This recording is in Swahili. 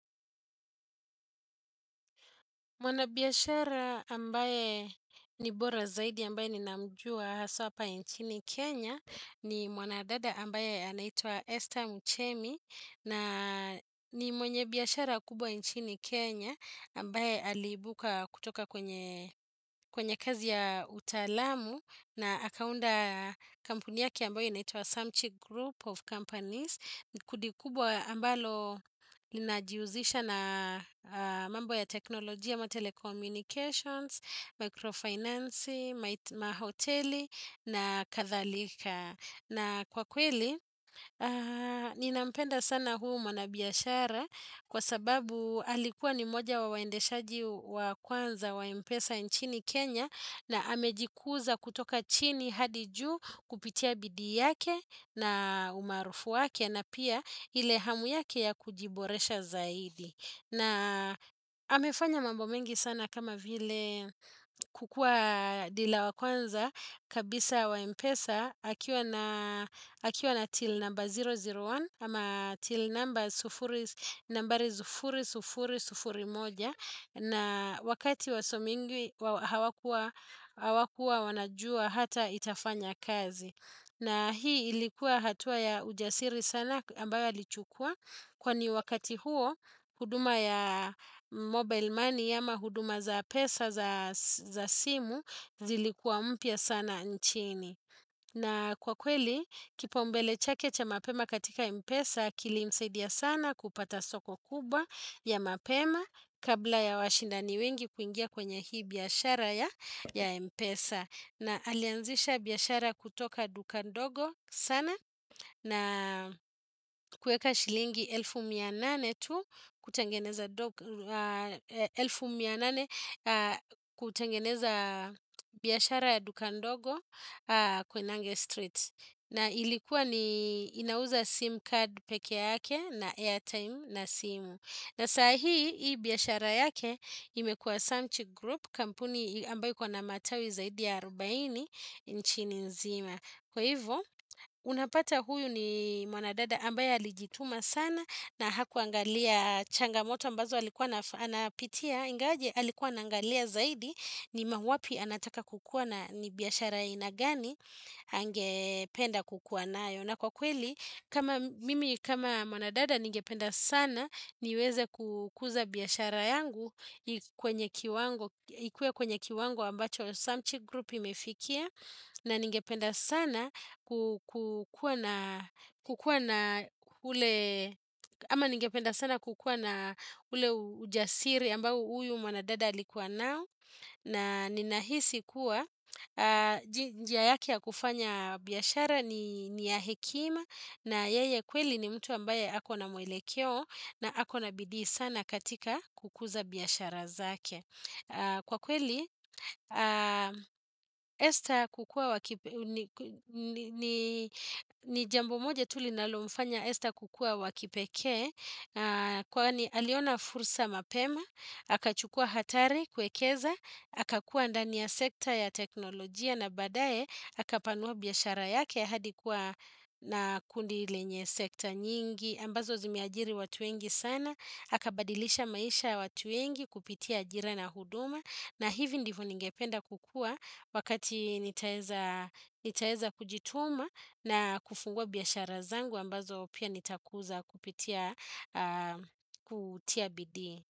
Mwana biyashara ambaye ni bora zaidi ambaye ninamjua haswa pa inchini Kenya ni mwanadada ambaye anaitua Esther Mchemi na ni mwenye biyashara kubwa inchini Kenya ambaye alibuka kutoka kwenye kazi ya utalamu na akaunda kampuni yake ambaye inaitua Samchig Group of Companies. Kudikubwa ambalo linajiuzisha na mambo ya teknolojia ma telecommunications, microfinancy, mahoteli na kathalika. Na kwa kweli, ninampenda sana huu mwanabiashara kwa sababu alikuwa ni moja wa waendeshaji wa kwanza wa mpesa nchini Kenya na hamejikuza kutoka chini hadi ju kupitia bidi yake na umarufu wake na pia ile hamu yake ya kujiboresha zaidi. Na hamefanya mambo mengi sana kama vile kukua dila wa kwanza kabisa wa mpesa hakiwa na til namba 001 hama til nambari 00001 na wakati wasomingi hawakua wanajua hata itafanya kazi. Na hii ilikuwa hatua ya ujasiri sana ambayo alichukua. Kwani wakati huo huduma ya mobile money ama huduma za pesa za simu zilikua mpia sana nchini. Na kwa kweli, kipau mbele chake cha mapema katika Mpesa kilimsaidia sana kupata soko kubwa ya mapema kabla ya washindani wengi kuingia kwenye hii biyashara ya Mpesa. Na alianzisha biyashara kutoka duka ndogo sana na kueka shilingi elfu mia nane tu kutengeneza biyashara duka ndogo koinange street. Na ilikuwa ni inauza SIM card peke yake na airtime na simu. Na sahi hii biyashara yake imekuwa Samt Group kampuni ambayo iko na matawi zaidi ya 40 nchini nzima. Kwa hivyo unapata huyu ni mwanadada ambaye alijituma sana na hakuangalia changamoto ambazo alikuwa na anapitia ingaje alikuwa anaangalia zaidi ni mawapi anataka kukuwa na ni biyashara ainagani angependa kukuwa nayo. Na kwa kweli, mimi kama mwanadada ningependa sana niweze kukuza biyashara yangu ikuwe kwenye kiwango ambacho samchi grupi imefikia na ningependa sana kukuwa na ule ujasiri ambau uyu mwanadada alikuwa nao. Na ninahisi kuwa jia yake ya kufanya biyashara ni ya hekima na yeye kweli ni mtu ambaye hako na mwelekeo na hako na bidii sana katika kukuza biyashara zake Kwa kweli, esta kukua wakipeke ni jambo moja tulinalomfanya esta kukua wakipeke Kwani aliona fursa mapema Hakachukua hatari kwekeza, hakakuwa ndani ya sekta ya teknolojia na badae hakapanua biyashara yake hadi kuwa na kundi lenye sekta nyingi. Ambazo zimeajiri watu wengi sana, hakabadilisha maisha watu wengi kupitia ajira na huduma. Na hivi ndivu ningependa kukua wakati nitaeza kujituma na kufungua biyashara zangu ambazo pia nitakuza kupitia kutia bidi.